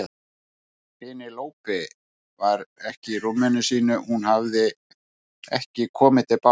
Penélope var ekki í rúminu sínu, hún hafði ekki komið til baka.